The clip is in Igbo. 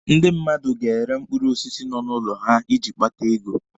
Ndi mmadụ ga-ere mkpụrụ osisi nọ n'ụlọ ha iji kpata ego.